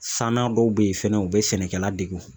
San na dɔw bɛ ye fɛnɛ u bɛ sɛnɛkɛla degun